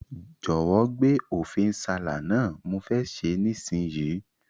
Jòwó gbé Ofe nsala náà, mo fe se nísinyí